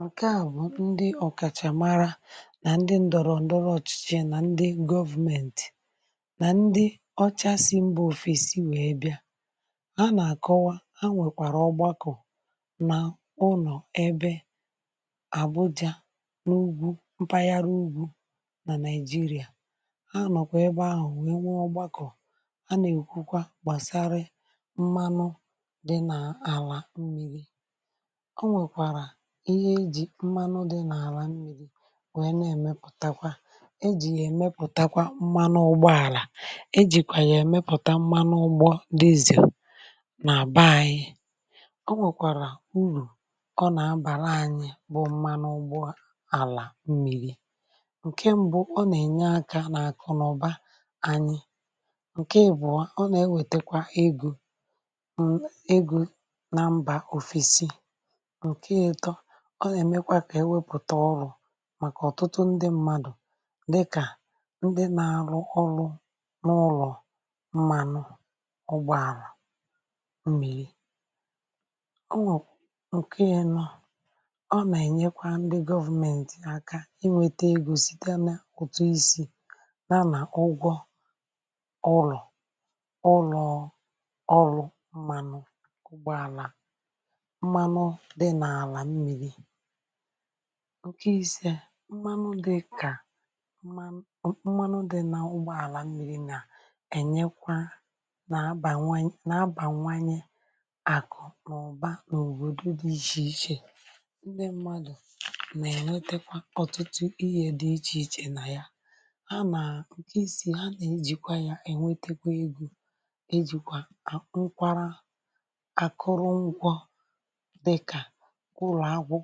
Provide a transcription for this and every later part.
um ǹkè a bụ̀ ndị ọ̀kàchà mara nà ndị ǹdọ̀rọ̀ ǹdọrọ̀ ọ̀chịchị, nà ndị government, nà ndị ọchasị mba òfè̄sì wèe bịa, nà-àkọwa a, nwèkwàrà ọgbakọ̀ nà ụnọ̀ ebe Àbuja, n’ugwù mpaghara ugwù nà Nigeria. À nọ̀kwà ebe ahụ̀.... wèe nwe ọgbakọ̀ a, nà-èkwukwa gbàsara mmanụ dị n’àlà mmiri, mmanụ dị n’àlà m̀miri, wèe na-èmepụ̀takwa ejì yà èmepụ̀takwa mmanụ ụgbọ àlà, ejìkwà yà èmepụ̀ta mmanụ ụgbọ dízì. Nà-àbà anyị, ọ nwèkwàrà urù ọ nà-abàla: ǹkè mbụ̀, ọ nà-ènye akà nà-àkụ n’ụ̀ba ànyị, ǹkè ị̀bụ̀ọ, ọ nà-ewètekwa(um) egò egò nà mba òfèsì, Ọ nà-èmekwa kà e wepụ̀ta ọrụ màkà ọ̀tụtụ ndị mmadụ̀, dịkà ndị nà-arụ ọrụ n’ụlọ̀ mmanụ ọgbọ àlà mmịrị, Ọ nà-ènyekwa ndị government aka inwėte ego site n’ụ̀tụ̄ isi̇ nà ụgwọ ọrụ, ọrụ, ọrụ mmanụ ụgbọ àlà. ǹkè isē, mmanụ dịkà... mmanụ mmanụ dị̀ n’ụgbọ̀ àlà mmiri nà-enyekwa nà àbà nwanye nà àbà nwanye àkụ̀ ọ̀ba n’òbodò dị iche iche... Ndị mmadụ̀ nà-ènwetekwa ọ̀tụtụ ihė dị iche iche um nà ya ha. ǹkè isi ha nà-ejìkwa yà, ènwetekwa egò ejìkwà nkwara. Mà ọ̀bụ̀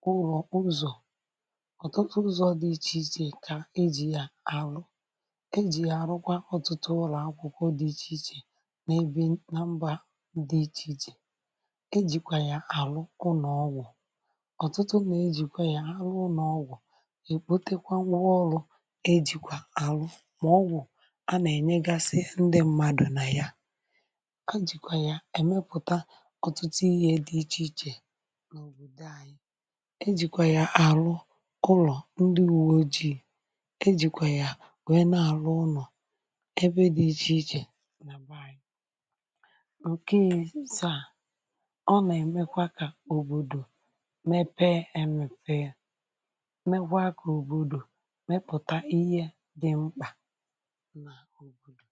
kwụrụ̀ ụzọ̀ ọ̀tụtụ ụzọ̇ dị iche iche, kà ejì ya àlụ̀, ejì ya àrụkwa ọtụtụ ụlọ̀akwụkwọ dị iche iche nà-ebi nà mba dị iche iche. E jìkwà yà àlụ̀ ụlọ̀ ọ̀tụtụ, nà ejìkwa ya ha ụnọ̀ ọgwụ̀, è kpote kwa nwọọ ọrụ̇. E jìkwà àlụ̀, um... mà ọ̀wụ̀ a, nà-ènye gasị ndị mmadụ̀ nà ya, kà e jìkwà ya èmepụ̀ta ọ̀tụtụ ihe dị iche iche. E jìkwà yà àrụ̀ ụlọ̀ ndị ùwò ji̇, e jìkwà yà wèe na-àrụ ụnọ̀ ebe dị iche iche nà bàà ànyị. Ọ̀kị̀sà, ọ nà-èmekwa kà òbòdò mepee, emèfe, ya mekwaa kà òbòdò mepụ̀ta ihe dị mkpà nà òbòdò.